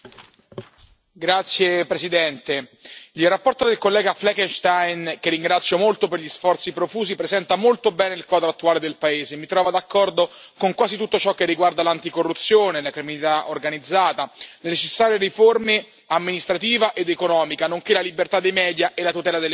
Signora Presidente, onorevoli colleghi, la relazione del collega Flechenstein, che ringrazio molto per gli sforzi profusi, presenta molto bene il quadro attuale del paese e mi trova d'accordo con quasi tutto ciò che riguarda l'anticorruzione, la criminalità organizzata, le necessarie riforme amministrativa ed economica, nonché la libertà dei media e la tutela delle minoranze.